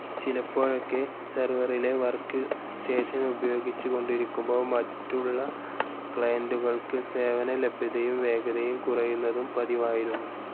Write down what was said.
ചിലപ്പോഴൊക്കെ സർവറിലെ വർക്ക്‌സ്റ്റേഷൻ ഉപയോഗിച്ചുകൊണ്ടിരിക്കുമ്പോൾ മറ്റുള്ള ക്ലയൻ്റുകൾക്ക് സേവനലഭ്യതയും വേഗതയും കുറയുന്നതും പതിവായിരുന്നു.